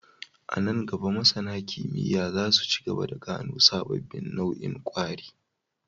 A nan gaba, masAna kimiyya za su ci gaba da gano sababbin nau'in kwari